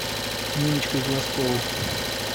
ниночкой глазковой